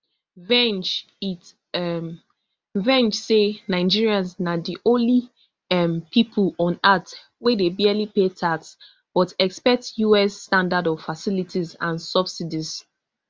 vreng its um vreng say nigerians na di only um pipo on earth wey dey barely pay tax but expect us standard of facilities and subsidies